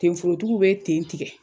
Ten forotigiw be ten tigɛ